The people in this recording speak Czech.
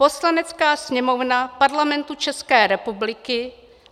"Poslanecká sněmovna Parlamentu České republiky